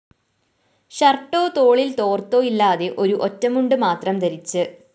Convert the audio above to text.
ഷര്‍ട്ടോ തോളില്‍ തോര്‍ത്തോ ഇല്ലാതെ ഒരു ഒറ്റമുണ്ട് മാത്രം ധരിച്ച്